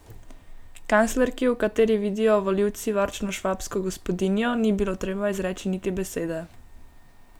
Kanclerki, v kateri vidijo volivci varčno švabsko gospodinjo, ni bilo treba izreči niti besede.